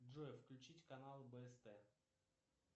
джой включить канал бст